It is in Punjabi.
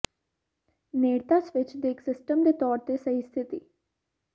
ਨੇੜਤਾ ਸਵਿੱਚ ਦੇ ਇੱਕ ਸਿਸਟਮ ਦੇ ਤੌਰ ਤੇ ਸਹੀ ਸਥਿਤੀ